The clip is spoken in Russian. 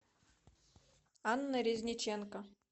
анна резниченко